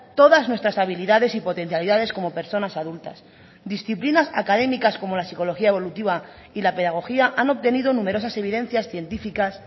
todas nuestras habilidades y potencialidades como personas adultas disciplinas académicas como la psicología evolutiva y la pedagogía han obtenido numerosas evidencias científicas